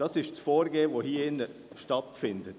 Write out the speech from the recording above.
Das ist das Vorgehen, das hier stattfindet.